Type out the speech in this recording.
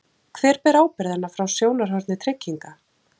Hver ber ábyrgðina frá sjónarhorni trygginga?